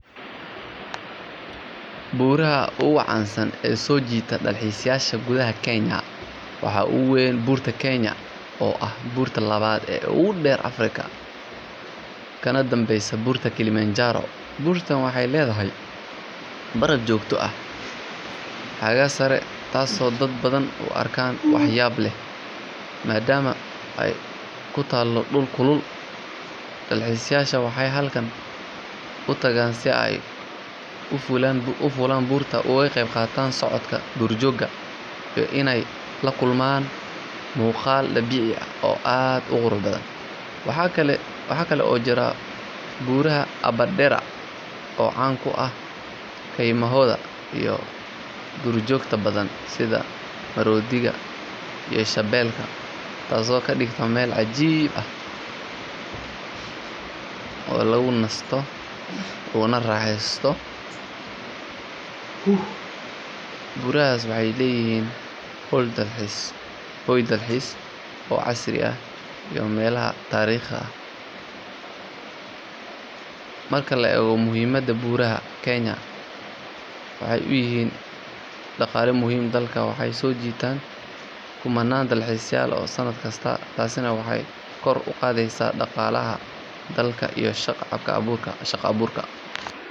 Buuraha ugu caansan ee soo jiita dalxiisayaasha gudaha Kenya waxaa ugu weyn Buurta Kenya oo ah buurta labaad ee ugu dheer Afrika kana dambeysa Buurta Kilimanjaro. Buurtan waxay leedahay baraf joogto ah xagga sare taasoo dadka badan u arkaan wax yaab leh maadaama ay ku taallo dhul kulul. Dalxiisayaashu waxay halkaas u tagaan si ay u fuulaan buurta, uga qeyb qaataan socodka duurjoogta, iyo inay la kulmaan muuqaal dabiici ah oo aad u qurux badan. Waxaa kaloo jira buuraha Aberdare oo caan ku ah keymahooda iyo duurjoogto badan sida maroodiyada iyo shabeelka, taasoo ka dhigta meel cajiib ah oo lagu nasto loona raaxeysto. Buurahaasi waxay leeyihiin hoy dalxiis oo casri ah iyo meelaha taariikhiga ah. Marka la eego muhiimadda, buuraha Kenya waxay u yihiin il dhaqaale muhiim ah dalka waxayna soo jiitaan kumannaan dalxiisayaal ah sannad kasta. Taasina waxay kor u qaadaa dhaqaalaha dalka iyo shaqo abuurka.